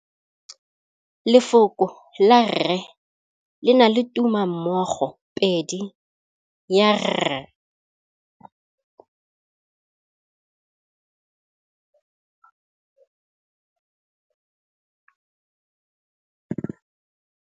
Lefoko la rre le na le tumammogôpedi ya, r.